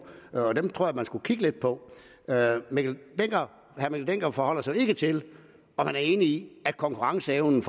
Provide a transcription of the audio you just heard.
og den tror jeg at man skulle kigge lidt på herre mikkel dencker forholder sig ikke til om han er enig i at konkurrenceevnen